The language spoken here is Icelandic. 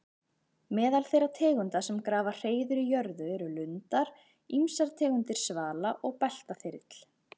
Meðal þeirra tegunda sem grafa hreiður í jörðu eru lundar, ýmsar tegundir svala og beltaþyrill.